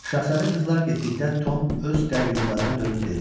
Şahzadə qızlar getdikdə Tom öz qayyumlarına dönüb dedi.